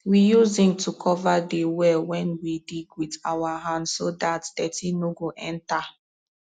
we use zinc to cover de well wen we dig wit our hand so dat dirty nor go enta